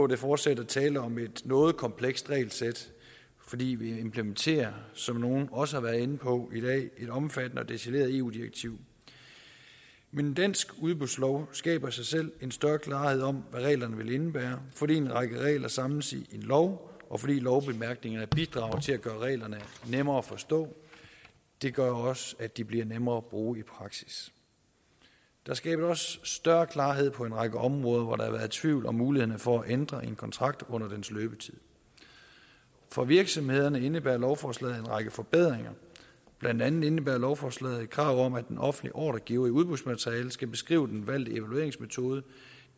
der fortsat er tale om et noget komplekst regelsæt fordi vi implementerer som nogle også været inde på i dag et omfattende og detaljeret eu direktiv men en dansk udbudslov skaber i sig selv en større klarhed om hvad reglerne vil indebære fordi en række regler samles i én lov og fordi lovbemærkningerne bidrager til at gøre reglerne nemmere at forstå det gør også at det bliver nemmere at bruge i praksis der skabes også større klarhed på en række områder hvor der har været tvivl om mulighederne for at ændre en kontrakt under dens løbetid for virksomhederne indebærer lovforslaget en række forbedringer blandt andet indebærer lovforslaget et krav om at den offentlige ordregiver i udbudsmaterialet skal beskrive den valgte evalueringsmetode